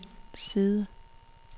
side